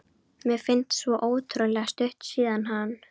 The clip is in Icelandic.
Mér finnst svo ótrúlega stutt síðan hann